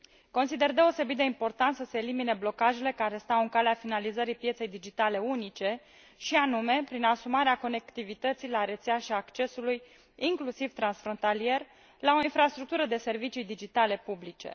Consider deosebit de important să se elimine blocajele care stau în calea finalizării pieței digitale unice, și anume prin asumarea conectivității la rețea și a accesului, inclusiv transfrontalier, la o infrastructură de servicii digitale publice.